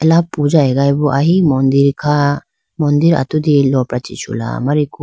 Ala puja agayi bo ahi mandir kha mandir atudi lopra chi chula amariku.